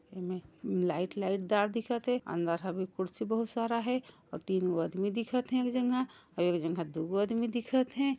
एमे light light dot दिखत हे अंदर ह भी कुर्सी बहुत सारा हे अउ तीन गो आदमी दिखत हे एक जगह अउ एक जगह दू गो आदमी दिखत हे।